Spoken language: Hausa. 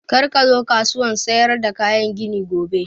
Kar ka zo kasuwan sayar da kayan gini gobe!